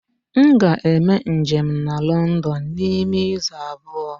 M ga-eme njem na London n'ime izu abụọ.